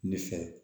Ne fɛ